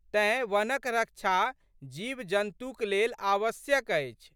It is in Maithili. तेँ वनक रक्षा जीवजन्तुक लेल आवश्यक अछि।